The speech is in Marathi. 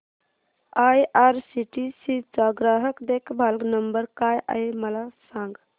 आयआरसीटीसी चा ग्राहक देखभाल नंबर काय आहे मला सांग